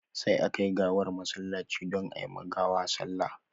Sai a kai gawar masallaci don ayi ma gawa sallah